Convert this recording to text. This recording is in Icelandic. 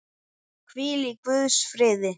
Hvíl í Guðs friði.